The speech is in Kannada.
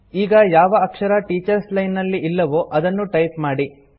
ಈಗ ಯಾವ ಅಕ್ಷರ ಟೀಚರ್ಸ್ ಲೈನ್ ನಲ್ಲಿ ಇಲ್ಲವೋ ಅದನ್ನು ಟೈಪ್ ಮಾಡಿ